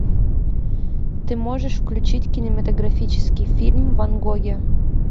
ты можешь включить кинематографический фильм ван гоги